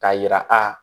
K'a yira a